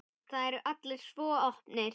Það eru allir svo opnir.